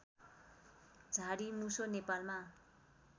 झाडी मुसो नेपालमा